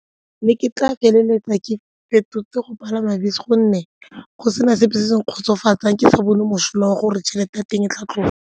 Mme ke tla feleletsa ke fetotse go palama bese gonne go sena sepe se se nkgotsofatsang, ke sa bone mosola wa gore tšhelete ya teng e tla tloga.